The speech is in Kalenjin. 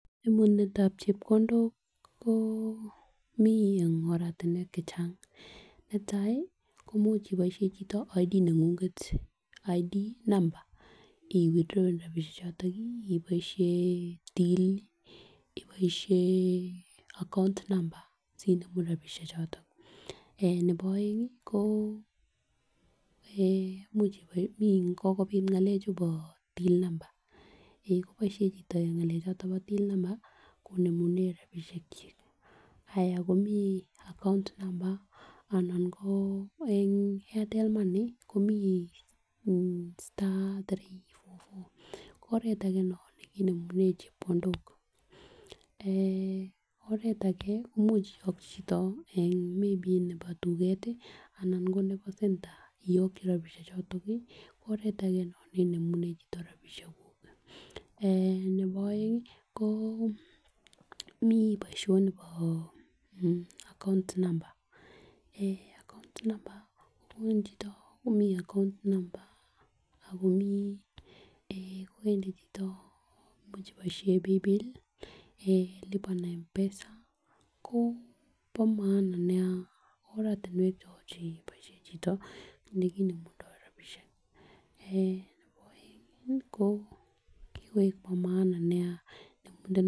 Kanemunetab chebkondok koimuch ibaishen ortinuek chechang, imuch ibaishen Identity card neng'ung'et ih withdraw rabisiek choton ih. Ibaishen tii ih , ibaishen account number sinemune rabisiek choto. En nebo aenge ko kokobit ng'alekab till number konemunen rabisiek chik, ayako komi account number ih anan ko Airtel money komiten *34 ko oret age nekinemunen chebkondok oret age koimuch iagyi chito maybe nebo tuget ih anan ko nebo center iagyi rabisiek choton ih oret age nekinemunen chito rabisiek ko eh nebo aeng ih komi boisianibo account number account number account number koimuche kobaishen paybill ih en lipa na mpesa koba maana nea en oratuniek chebaisien chito yekinemune rabisiek en neboange ko kikoek bo maana